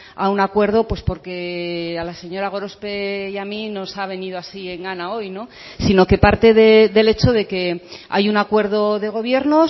a un acuerdo pues porque a la señora gorospe y a mí nos ha venido así en gana hoy sino que parte del hecho de que hay un acuerdo de gobierno